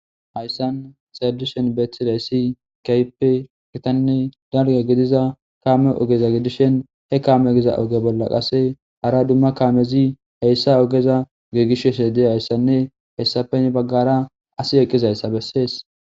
Hayssani xelishin betizayis kehippe gitanne daligga gidiza kammeza oge gidishin he kameza oge bolla hara duma kamezi hayisa ogeza gigisishe dizayisanne hayisappe heni baggara assi eqizayisa besesi